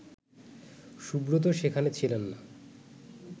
সুব্রত সেখানে ছিলেন না